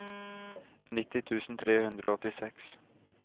nitti tusen tre hundre og åttiseks